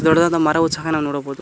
ದೊಡ್ಡದಾದ ಮರವು ಸಹ ನಾವು ನೋಡಬಹುದು.